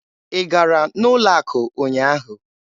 Ị gara n'ụlọ akụ ụnyaahụ?